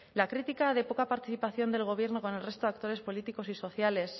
la crítica de poca participación del gobierno con el resto de actores políticos y sociales